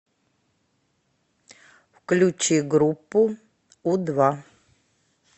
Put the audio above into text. включи группу у два